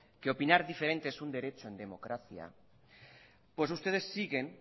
que opinar diferente es un derecho en democracia pues ustedes siguen